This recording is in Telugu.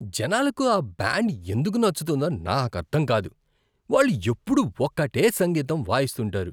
జనాలకు ఆ బ్యాండ్ ఎందుకు నచ్చుతుందో నాకర్థం కాదు. వాళ్ళు ఎప్పుడూ ఒకటే సంగీతం వాయిస్తుంటారు.